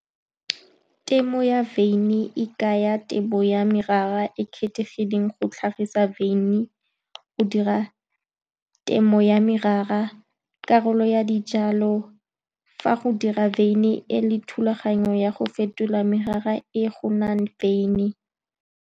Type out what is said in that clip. Temo ya wyn e kaya tebo ya merara e e kgethegileng go tlhagisa wyn. Go dira temo ya merara ke karolo ya dijalo, fa go dira wyn e le thulaganyo ya go fetola merara e go nnang wyn.